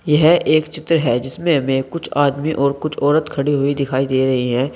यह एक चित्र है जिसमें हमें कुछ आदमी और कुछ औरत खड़ी हुई दिखाई दे रही हैं।